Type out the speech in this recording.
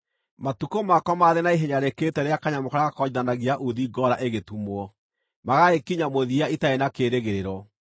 “Matukũ makwa maraathira na ihenya rĩkĩrĩte rĩa kanyamũ karĩa gakonjithanagia uuthi ngoora ĩgĩtumwo, magagĩkinya mũthia itarĩ na kĩĩrĩgĩrĩro.